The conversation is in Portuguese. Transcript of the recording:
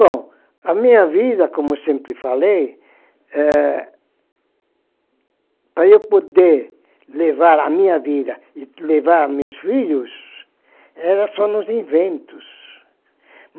Bom, a minha vida, como eu sempre falei, eh, para eu poder levar a minha vida e levar meus filhos, era só nos inventos.